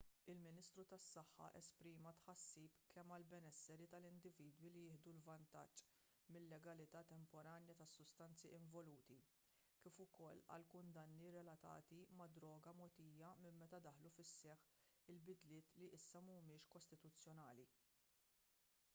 il-ministru tas-saħħa esprima tħassib kemm għall-benesseri tal-individwi li jieħdu vantaġġ mil-legalità temporanja tas-sustanzi involuti kif ukoll għall-kundanni relatati mad-droga mogħtija minn meta daħlu fis-seħħ il-bidliet li issa mhumiex kostituzzjonali